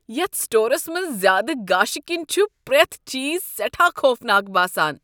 یتھ سٹورس منٛز زیادٕ گاشہِ كِنۍ چھُ پرٛیتھ چیز سیٹھاہ خوفناک باسان۔